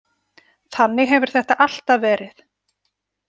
Þannig hefur þetta alltaf verið.